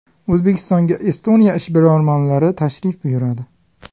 O‘zbekistonga Estoniya ishbilarmonlari tashrif buyuradi.